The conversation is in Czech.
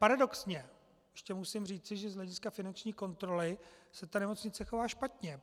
Paradoxně ještě musím říci, že z hlediska finanční kontroly se ta nemocnice chová špatně.